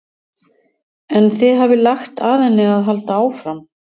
En þið hafið lagt að henni að halda áfram?